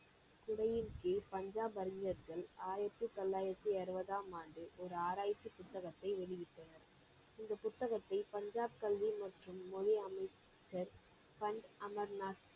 துறையின் கீழ் பஞ்சாப் அறிஞ்ர்கள் ஆயிரத்தி தொள்ளாயிரத்தி அறுபதாம் ஆண்டு ஒரு ஆராய்ச்சி புத்தகத்தை வெளியிட்டனர். இந்த புத்தகத்தை பஞ்சாப் கல்வி மற்றும் மொழி அமைச்சர் பண் அமர்நாத்